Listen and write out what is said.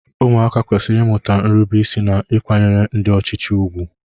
Ụmụaka kwesịrị ịmụta nrubeisi na ịkwanyere ndị ọchịchị ùgwù.